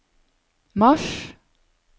mars